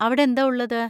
അവിടെന്താ ഉള്ളത്?